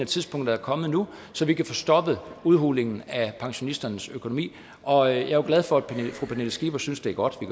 tidspunktet er kommet nu så vi kan få stoppet udhulingen af pensionisternes økonomi og jeg er jo glad for at fru pernille skipper synes det er godt at